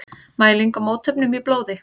Mæling á mótefnum í blóði.